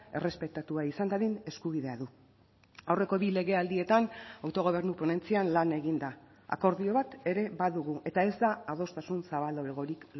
errespetatua izan dadin eskubidea du aurreko bi legealdietan autogobernu ponentzian lan egin da akordio bat ere badugu eta ez da adostasun zabalagorik